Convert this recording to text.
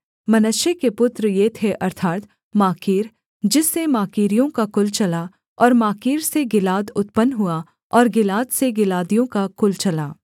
मनश्शे के पुत्र ये थे अर्थात् माकीर जिससे माकीरियों का कुल चला और माकीर से गिलाद उत्पन्न हुआ और गिलाद से गिलादियों का कुल चला